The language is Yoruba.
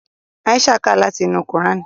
Aisha ká láti inú kuran.